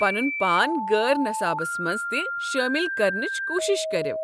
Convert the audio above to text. پنن پان غٲر نصابس منٛز تہ شٲمل کرنٕچ کوٗشِش کٔریو۔